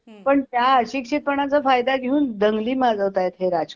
पण त्या अशिक्षितपणाचा फायदा घेऊन दंगली माजवतायत हे राजकारणी.